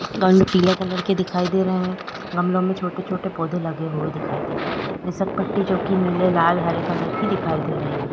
गमले पीले कलर का दिखाई दे रहा है गमलो में छोटे-छोटे पौधे लगे हुए दिखाई दे रहे है घसरपट्टी जोकि नीले हरे लाल कलर की दिखाई दे रही है।